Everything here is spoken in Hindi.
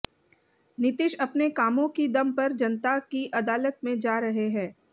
नीतीश अपने कामों की दम पर जनता की अदालत में जा रहे हैं